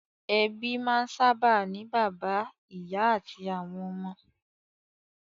Ẹbí máa ń sábà ní bàbá, ìyá àti àwọn ọmọ.